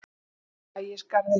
Ægisgarði